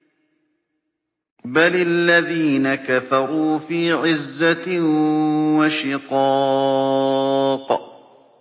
بَلِ الَّذِينَ كَفَرُوا فِي عِزَّةٍ وَشِقَاقٍ